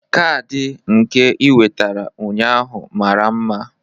Kaadị nka ị wetara ụnyaahụ mara mma